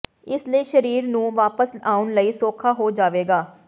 ਇਸ ਲਈ ਸਰੀਰ ਨੂੰ ਵਾਪਸ ਆਉਣ ਲਈ ਸੌਖਾ ਹੋ ਜਾਵੇਗਾ